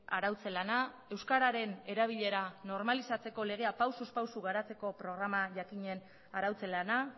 arautze lana euskararen erabilera normalizatzeko legea pausuz pausu garatzeko programa jakinen arautze lana